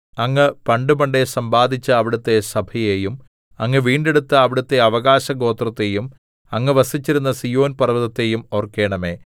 അങ്ങ് പണ്ടുപണ്ടേ സമ്പാദിച്ച അവിടുത്തെ സഭയെയും അങ്ങ് വീണ്ടെടുത്ത അവിടുത്തെ അവകാശഗോത്രത്തെയും അങ്ങ് വസിച്ചിരുന്ന സീയോൻ പർവ്വതത്തെയും ഓർക്കണമേ